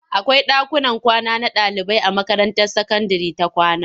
Akwai ɗakuman kwana na ɗaliibai a makaranta sakandire ta kwama.